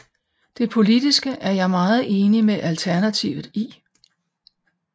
Det politiske er jeg meget enig med Alternativet i